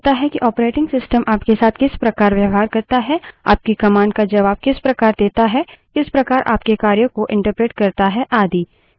Linux environment निर्धारित करता है कि operating system आपके साथ किस प्रकार व्यवहार करता है आपकी commands का जबाब किस प्रकार देता है किस प्रकार आपके कार्यों को एंटरप्रेट करता है आदि